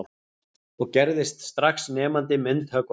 Og gerðist strax nemandi myndhöggvarans